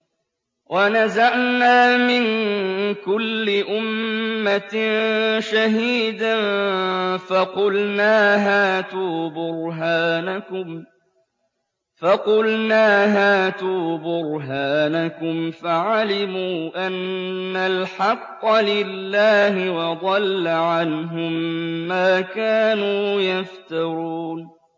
وَنَزَعْنَا مِن كُلِّ أُمَّةٍ شَهِيدًا فَقُلْنَا هَاتُوا بُرْهَانَكُمْ فَعَلِمُوا أَنَّ الْحَقَّ لِلَّهِ وَضَلَّ عَنْهُم مَّا كَانُوا يَفْتَرُونَ